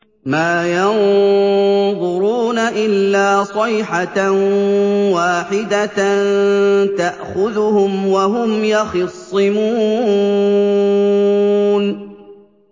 مَا يَنظُرُونَ إِلَّا صَيْحَةً وَاحِدَةً تَأْخُذُهُمْ وَهُمْ يَخِصِّمُونَ